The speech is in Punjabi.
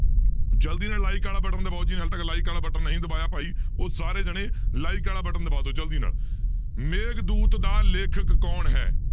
ਜ਼ਲਦੀ ਨਾਲ like ਵਾਲਾ button ਦਬਾਓ ਜਿਹਨੇ ਹਾਲੇ ਤੱਕ like ਵਾਲਾ button ਨਹੀਂ ਦਬਾਇਆ ਭਾਈ ਉਹ ਸਾਰੇ ਜਾਣੇ like ਵਾਲਾ button ਦਬਾ ਦਓ ਜ਼ਲਦੀ ਨਾਲ, ਮੇਘਦੂਤ ਦਾ ਲੇਖਕ ਕੌਣ ਹੈ?